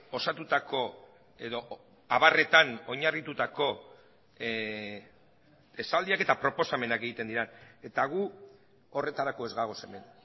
osatutako edo abarretan oinarritutako esaldiak eta proposamenak egiten dira eta gu horretarako ez gagoz hemen